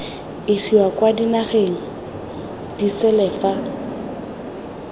isiwa kwa dinageng disele fa